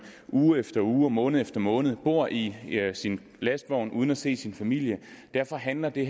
uge efter uge og måned efter måned bor i sin lastvogn uden at se sin familie derfor handler det